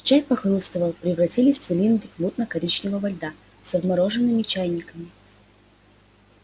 чай похрустывал превратились в цилиндрик мутно-коричневого льда со вмороженными чаинками